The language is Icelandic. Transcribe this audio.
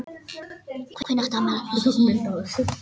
spyr Hallmundur öðru sinni og lítur á klukkuna.